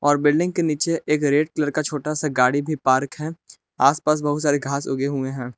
और बिल्डिंग के नीचे एक रेड कलर का छोटा सा गाड़ी भी पार्क है। आसपास बहुत सारे घास उगे हुए हैं।